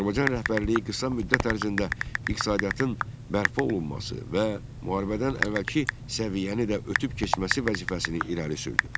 Azərbaycan rəhbərliyi qısa müddət ərzində iqtisadiyyatın bərpa olunması və müharibədən əvvəlki səviyyəni də ötüb keçməsi vəzifəsini irəli sürdü.